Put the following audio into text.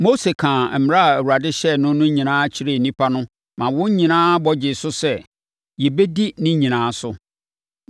Mose kaa mmara a Awurade hyɛɛ no no nyinaa kyerɛɛ nnipa no ma wɔn nyinaa bɔ gyee so sɛ, “Yɛbɛdi ne nyinaa so.”